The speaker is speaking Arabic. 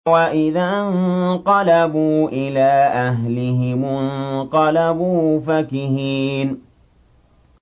وَإِذَا انقَلَبُوا إِلَىٰ أَهْلِهِمُ انقَلَبُوا فَكِهِينَ